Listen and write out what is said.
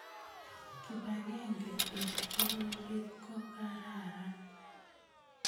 Kibagenge eng' pororiet kokararan